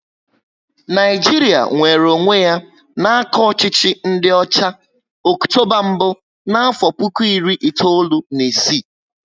Naijiria nwere onwé ya n'aka ọchịchị ndị ọcha, Ọktoba mbụ n'afo puku iri itoolu na ịsị